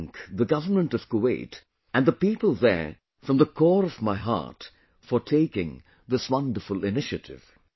I thank the government of Kuwait and the people there from the core of my heart for taking this wonderful initiative